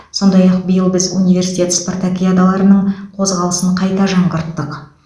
сондай ақ биыл біз университет спартакиадаларының қозғалысын қайта жаңғырттық